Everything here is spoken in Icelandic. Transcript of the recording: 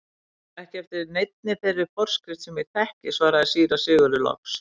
Ekki eftir neinni þeirri forskrift sem ég þekki, svaraði síra Sigurður loks.